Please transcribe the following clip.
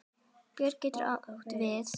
Björn getur átt við